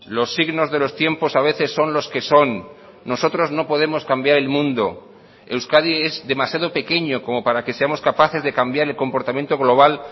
los signos de los tiempos a veces son los que son nosotros no podemos cambiar el mundo euskadi es demasiado pequeño como para que seamos capaces de cambiar el comportamiento global